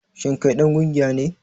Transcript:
Shin kai dan kungiya ne?